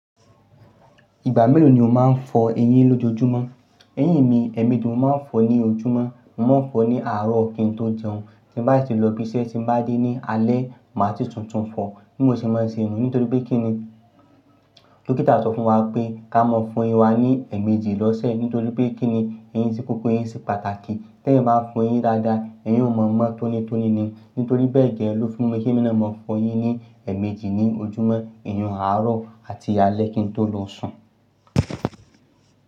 Ìgbà mélòó ni o máa ń fọ eyín lójoojúmọ́? Eyín mi, ẹ̀ẹ̀mejì ni mo máa ń fọ ní ojúmọ́, mo máa ń fọ ní àárọ̀ kí n tó jẹun. Tí n bá ti lọ ibi iṣẹ́, tí n bá dé ní alé, màá ti tuntun fọ. Bi mo ṣe máa ń ṣe niyen nítorí pé kí ni? Dókítà sọ fún wa pé ká mọ fún eyín wa ní ẹ̀ẹ̀mejì lọ́sẹ̀ nítorí pé kí ni, eyín ṣé funfun eyín ṣé pàtàkì. Tẹ́eyáa ba fọ eyín dáadáa, ẹyin o mọ̀ mọ̀ tónítóní ni. Nítorí bẹ́ẹ̀ jẹ ló fi mú kí mí náà mọ fọ eyín ní ẹ̀ẹ̀mejì ní ojúmọ́, ìyun àárọ̀ àti alẹ́ kí n tó lọ sùn.